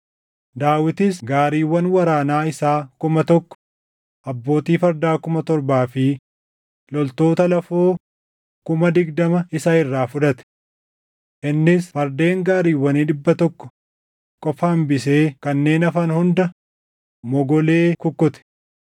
Daawitis gaariiwwan waraanaa isaa kuma tokko, abbootii fardaa kuma torbaa fi loltoota lafoo kuma digdama isa irraa fudhate. Innis fardeen gaariiwwanii dhibba tokko qofa hambisee kanneen hafan hunda mogolee kukkute.